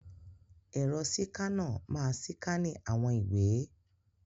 Ẹ̀rọ síkánà máa síkánì àwọn ìwé.